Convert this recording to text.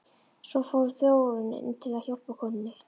Svo fór Þórunn inn til að hjálpa konunni.